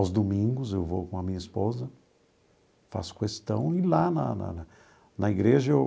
Aos domingos eu vou com a minha esposa, faço questão e lá na na na igreja eu